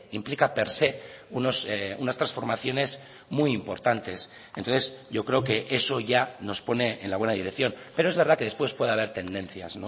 implica per se unas transformaciones muy importantes entonces yo creo que eso ya nos pone en la buena dirección pero es verdad que después puede haber tendencias